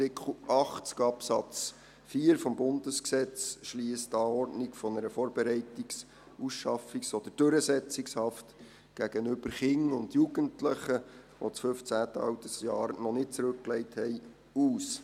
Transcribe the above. Artikel 80 Absatz 4 des Bundesgesetzes schliesst die Anordnung einer Vorbereitungsausschaffungs- oder Durchsetzungshaft gegenüber Kindern und Jugendlichen, die das 15. Altersjahr noch nicht zurückgelegt haben, aus.